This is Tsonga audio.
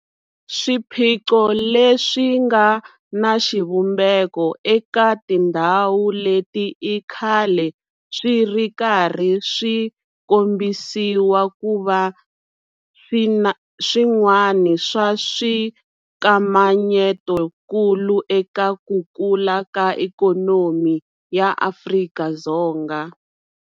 Swiphiqo leswi nga na xivumbeko eka tindhawu leti i khale swi ri karhi swi kombisiwa ku va swin'wana swa swikamanyetokulu eka ku kula ka ikhonomi ya Afrika-Dzonga.